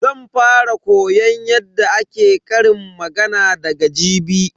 Zan fara koyon yadda ake ƙarin magana daga jibi.